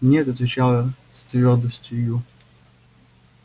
нет отвечал я с твёрдостию